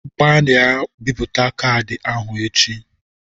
Gbarịa bipụta caadi ahụ echi!